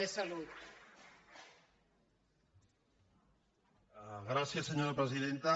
gràcies senyora presidenta